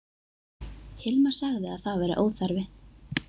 Hilmar sagði að það væri óþarfi.